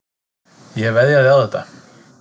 Ég veðjaði á þetta.